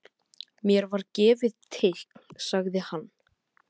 Mér var gefið teikn sagði hann.